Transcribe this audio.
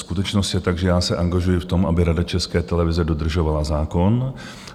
Skutečnost je taková, že já se angažuji v tom, aby Rada České televize dodržovala zákon.